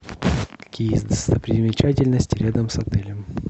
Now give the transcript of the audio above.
какие есть достопримечательности рядом с отелем